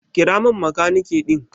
Kira min makaniki din.